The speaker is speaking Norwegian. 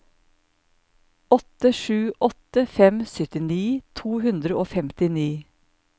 åtte sju åtte fem syttini to hundre og femtini